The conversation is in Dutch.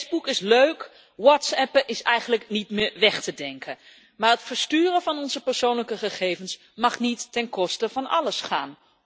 Facebook is leuk, whatsappen is eigenlijk niet meer weg te denken, maar het versturen van onze persoonlijke gegevens mag niet ten koste van alles gaan.